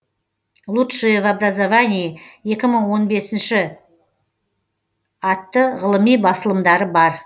лучшие в образовании екі мың он бесінші атты ғылыми басылымдары бар